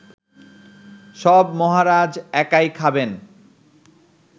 সব মহারাজ একাই খাবেন